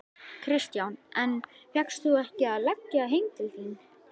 Kristján: En fékkst þú ekki að leggja heim til þín?